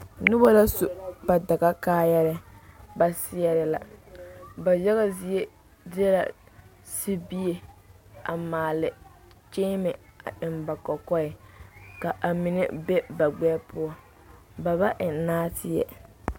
Noba la su ba dagakaayɛrɛɛ ba seɛrɛ la ba yaga zie deɛ sibie a maale kyeeme a eŋ ba kɔkɔɛ ka a mine be ba gbɛɛ poɔ ba ba eŋ nɔɔteɛ.